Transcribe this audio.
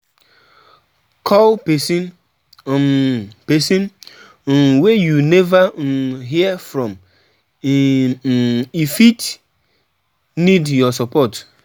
call pesin um pesin um wey you neva um hear from e um fit need your support.